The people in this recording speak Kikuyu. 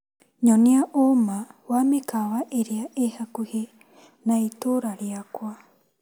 Nyonia ũma wa mĩkawa ĩrĩa ĩ hakuhĩ na itũra rĩakwa .